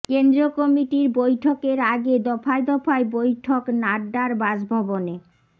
কেন্দ্রীয় কমিটির বৈঠকের আগে দফায় দফায় বৈঠক নাড্ডার বাসভবনে